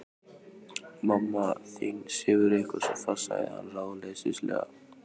Mamma þín sefur eitthvað svo fast sagði hann ráðleysislega.